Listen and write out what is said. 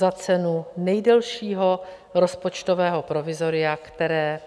Za cenu nejdelšího rozpočtového provizoria, které